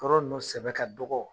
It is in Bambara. Yɔrɔ nunnu sɛbɛ ka dɔgɔ